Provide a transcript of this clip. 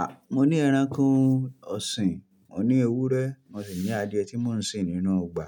A! Mọ ní ẹranko ọ̀sìn, mọ ní ewúrẹ́, mọ sì ní adìẹ tí mò ń sin nínú ọgbà.